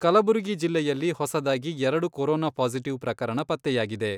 ಕಲಬುರಗಿ ಜಿಲ್ಲೆಯಲ್ಲಿ ಹೊಸದಾಗಿ ಎರಡು ಕೊರೊನಾ ಪಾಸಿಟಿವ್ ಪ್ರಕರಣ ಪತ್ತೆಯಾಗಿದೆ.